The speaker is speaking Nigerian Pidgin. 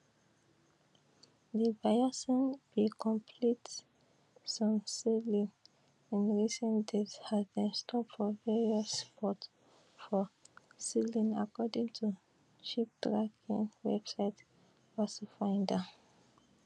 di bayesian bin complete some sailings in recent days as dem stop for various ports for sicily according to shiptracking website vesselfinder